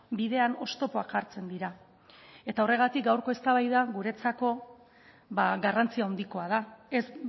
bidean oztopoak jartzen dira eta horregatik gaurko eztabaida guretzako ba garrantzi handikoa da ez